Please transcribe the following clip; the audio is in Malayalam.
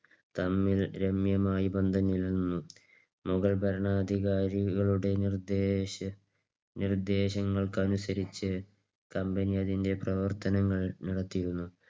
തമ്മിൽ രമ്യമായ ബന്ധം നിലനിന്നു. മുഗൾ ഭരണാധികാരികളുടെ നിർദ്ദേശങ്ങൾക്ക് അനുസരിച്ച് Company അതിന്റെ പ്രവർത്തനങ്ങൾ നടത്തിയിരുന്നു.